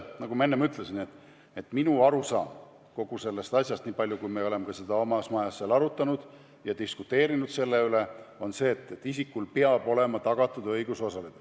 Nagu ma ütlesin, minu arusaam kogu sellest asjast – me oleme seda oma majas arutanud ja diskuteerinud selle üle – on see, et isikule peab olema tagatud õigus osaleda.